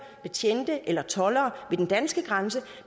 betjente eller toldere ved den danske grænse